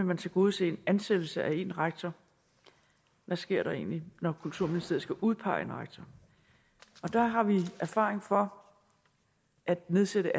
vil tilgodese ansættelsen af en rektor hvad sker der egentlig når kulturministeriet skal udpege en rektor der har vi erfaring for at nedsætte